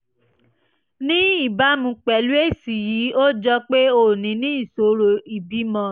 ní ìbámu pẹ̀lú èsì yìí ó jọ pé o ní ní ìṣòro ìbímọ